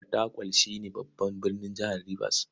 Fatakwal shi ne babban birnin jihar Ribas.